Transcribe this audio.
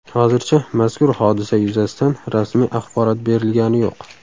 Hozircha mazkur hodisa yuzasidan rasmiy axborot berilgani yo‘q.